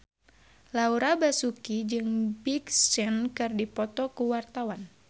Laura Basuki jeung Big Sean keur dipoto ku wartawan